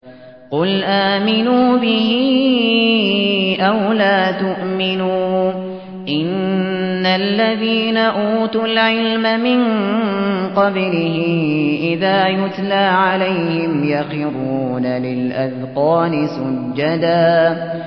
قُلْ آمِنُوا بِهِ أَوْ لَا تُؤْمِنُوا ۚ إِنَّ الَّذِينَ أُوتُوا الْعِلْمَ مِن قَبْلِهِ إِذَا يُتْلَىٰ عَلَيْهِمْ يَخِرُّونَ لِلْأَذْقَانِ سُجَّدًا